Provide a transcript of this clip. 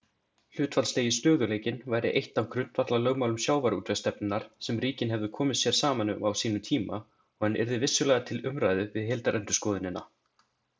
Hlutfallslegi stöðugleikinn væri eitt af grundvallarlögmálum sjávarútvegsstefnunnar sem ríkin hefðu komið sér saman um á sínum tíma og hann yrði vissulega til umræðu við heildarendurskoðunina.